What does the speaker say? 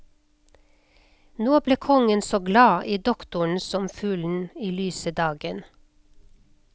Nå ble kongen så glad i doktoren som fuglen i lyse dagen.